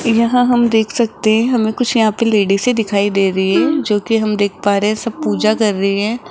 यहां हम देख सकते हैं हमें कुछ यहां पे लेडीसे से दिखाई दे रही हैं जोकि हम देख पा रहे हैं सब पूजा कर रही हैं।